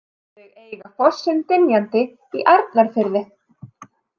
Þau eiga fossinn Dynjandi í Arnarfirði.